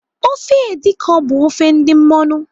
Ofe edi kan bụ ofe ndị mmọṅụ.